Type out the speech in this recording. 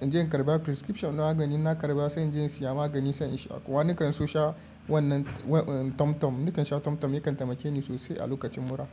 inje in karba prescription na magani. Na karba sai inje in siya magani sai insha. Wani kan so sha wannan, wa, tom-tom. Na kansha tom-tom yakan taimakeni sosai a lokacin mura.